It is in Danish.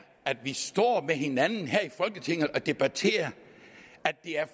at vi står med hinanden her i folketinget og debatterer at det er